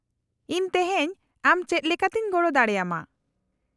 -ᱤᱧ ᱛᱮᱦᱮᱧ ᱟᱢ ᱪᱮᱫ ᱞᱮᱠᱟᱛᱮᱧ ᱜᱚᱲᱚ ᱫᱟᱲᱮ ᱟᱢᱟ ?